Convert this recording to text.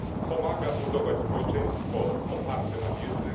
Pomaga budować społeczeństwo oparte na wiedzy.